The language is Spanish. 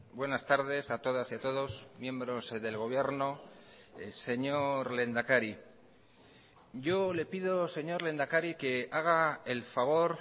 buenas tardes a todas y a todos miembros del gobierno señor lehendakari yo le pido señor lehendakari que haga el favor